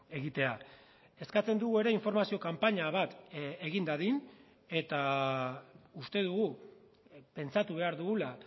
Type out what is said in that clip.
egitea eskatzen dugu ere informazio kanpaina bat egin dadin eta uste dugu pentsatu behar dugula